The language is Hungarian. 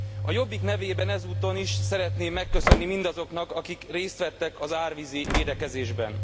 A Jobbik nevében ezúton is szeretném megköszönni mindazoknak, akik részt vettek az árvízi védekezésben.